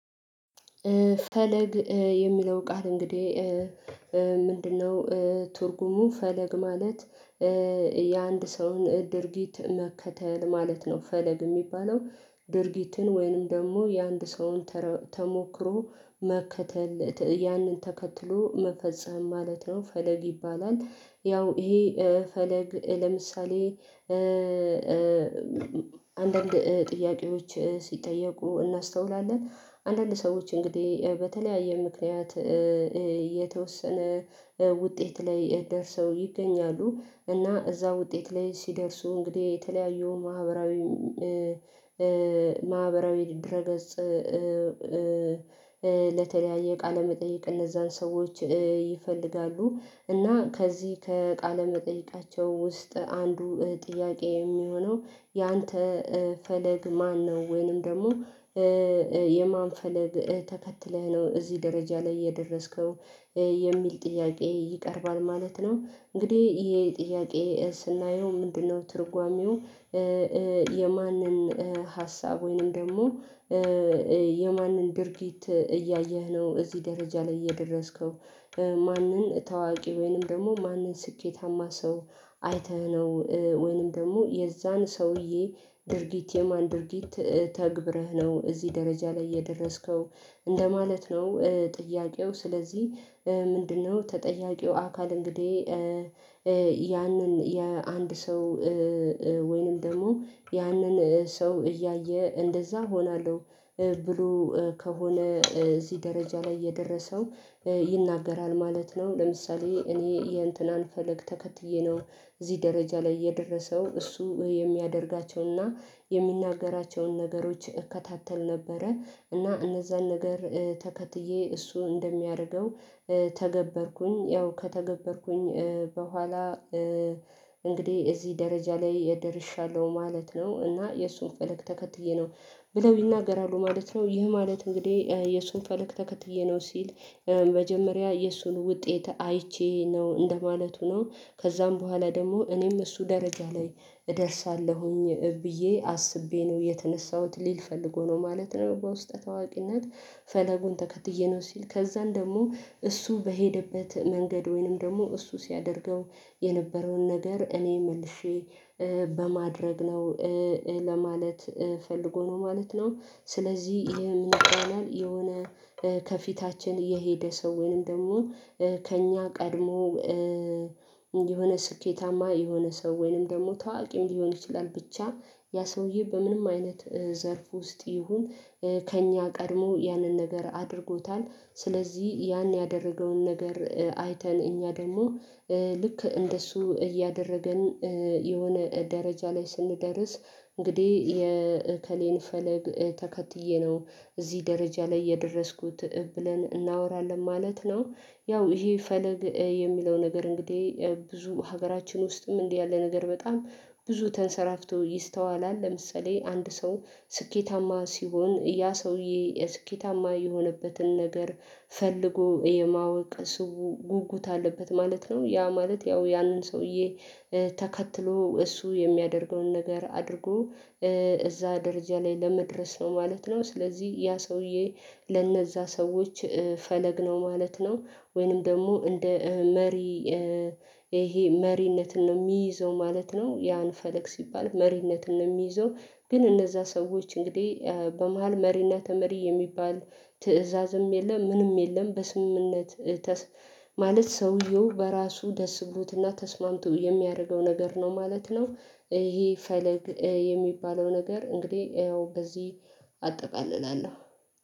ፈለግ የሚለው ቃል እንግዲህ ምንድነው ትርጉሙ ፈለግ ማለት? የአንድ ሰውን ድርጊት መከተል ማለት ነው። ፈለግ የሚባለው ድርጊትን ወይንም ደግሞ የአንድ ሰውን ተሞክሮ መከተል ያንን ተከትሎ መፈጸም ማለት ነው። ፈለግ ይባላል ያው ይሄ ፈለግ ለምሳሌ አንዳንድ ጥያቄዎች ሲጠየቁ እናስተውላለን አንዳንድ ሰዎች እንግዲህ በተለያየ ምክንያት የተወሰነ ውጤት ላይ ደርሰው ይገኛሉ። እና እዛ ውጤት ላይ ሲደርሱ እንግዲህ የተለያየውን ማህበራዊ ድረ ገጽ ለተለያየ ቃለመጠየቅ እነዛን ሰዎች ይፈልጋሉ። እና ከዚህ ከቃለ መጠይቃቸው ውስጥ አንዱ ጥያቄ የሚሆነው ያንተ ፈለግ ማነው ወይንም ደግሞ የማን ፈለግ ተከትለህ ነው እዚህ ደረጃ ላይ የደረስከው የሚል ጥያቄ ይቀርባል ማለት ነው። እንግዲህ ይሄ ጥያቄ ስናየው ምንድነው ትርጓሜው? የማንን ሀሳብ ወይንም ደግሞ የማንን ድርጊት እያየህ ነው እዚህ ደረጃ ላይ የደረስከው ማንን ታዋቂ ወይንም ደግሞ ማንን ስኬታማ ሰው አይተህ ነው ወይንም ደግሞ የዛን ሰውዬ ድርጊት የማን ድርጊት ተግብረህ ነው እዚህ ደረጃ ላይ የደረስከው እንደማለት ነው። ጥያቄው ስለዚህ ምንድነው ተጠያቂው አካል እንግዲህ ያንን የአንድ ሰው ወይንም ደግሞ ያንን ሰው እያየ እንደዛ ሆናለሁ ብሎ ከሆነ እዚህ ደረጃ ላይ የደረሰው ይናገራል ማለት ነው። ለምሳሌ እኔ ይሄን እንትን አልፈልግ ተከትዬ ነው እዚህ ደረጃ ላይ የደረሰው እሱ የሚያደርጋቸውን የሚያደርጋቸውንና የሚናገራቸውን ነገሮች እከታተል ነበረ እና እነዛን ነገር ተከትዬ እሱ እንደሚያደርገው ተገበርኩኝ ያው ከተገበርኩኝ በኋላ እንግዲህ እዚህ ደረጃ ላይ የደርሻለሁ ማለት ነው። እና የእሱን ፈለግ ተከትዬ ነው ብለው ይናገራሉ ማለት ነው። ይህ ማለት እንግዲህ የሱን ፈለክ ተከትዬ ነው ሲል መጀመሪያ የሱን ውጤት አይቼ ነው እንደማለቱ ነው ከዛም በኋላ ደግሞ እኔም እሱ ደረጃ ላይ እደርሳለሁኝ ብዬ አስቤ ነው የተነሳሁት ሊል ፈልጎ ነው ማለት ነው። በውስጠ ታዋቂነት ፈለጉን ተከትዬ ነው ሲል ከዛን ደግሞ እሱ በሄደበት መንገድ ወይንም ደግሞ እሱ ሲያደርገው የነበረውን ነገር እኔ መልሼ በማድረግ ነው ለማለት ፈልጎ ነው ማለት ነው። ስለዚህ ይሄ ምን ይሆናል የሆነ ከፊታችን የሄደ ሰው ወይንም ደግሞ ከእኛ ቀድሞ የሆነ ስኬታማ የሆነ ሰው ወይንም ደግሞ ተዋቂም ሊሆን ይችላል። ብቻ ያ ሰውዬ በምንም አይነት ዘርፍ ውስጥ ይሁን ከእኛ ቀድሞ ያንን ነገር አድርጎታል ስለዚህ ያን ያደረገውን ነገር አይተን እኛ ደግሞ ልክ እንደሱ እያደረገን የሆነ ደረጃ ላይ ስንደርስ እንግዲህ የእከሌን ፈለግ ተከትዬ ነው እዚህ ደረጃ ላይ የደረስኩት ብለን እናወራለን ማለት ነው። ያው ይሄ ፈለግ የሚለው ነገር እንግዲህ ብዙ ሀገራችን ውስጥም እንዲህ ያለ ነገር በጣም ብዙ ተንሰራፍቶ ይስተዋላል ለምሳሌ አንድ ሰው ስኬታማ ሲሆን ያ ሰውዬ ስኬታማ የሆነበትን ነገር ፈልጎ የማወቅ ስውር ጉጉት አለበት ማለት ነው ያ ማለት ያው ያንን ሰውዬ ተከትሎ እሱ የሚያደርገውን ነገር አድርጎ እዛ ደረጃ ላይ ለመድረስ ነው ማለት ነው። ስለዚህ ያ ሰውዬ ለነዛ ሰዎች ፈለግነው ማለት ነው ወይንም ደግሞ እንደ መሪ ይሄ መሪነትን ነው የሚይዘው ማለት ነው ያን ፈለግ ሲባል መሪነትን ነው የሚይዘው ግን እነዛ ሰዎች እንግዲህ በመሃል መሪና ተመሪ የሚባል ትእዛዝም የለም ምንም የለም በስምምነት ማለት ሰውየው በራሱ ደስብሎትና ተስማምቶ የሚያደርገው ነገር ነው ማለት ነው። ይሄ ፈለግ የሚባለው ነገር እንግዲህ ያው በዚህ አጠቃልላለሁ።